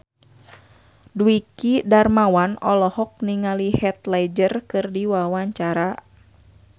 Dwiki Darmawan olohok ningali Heath Ledger keur diwawancara